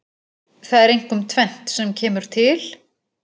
Það er einkum tvennt sem kemur til.